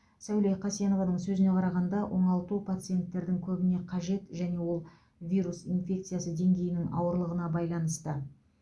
сауле қасенованың сөзіне қарағанда оңалту пациенттердің көбіне қажет және ол вирус инфекциясы деңгейінің ауырлығына байланысты